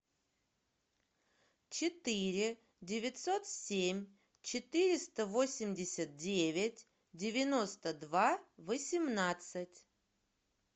четыре девятьсот семь четыреста восемьдесят девять девяносто два восемнадцать